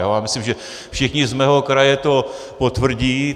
Já myslím, že všichni z mého kraje to potvrdí.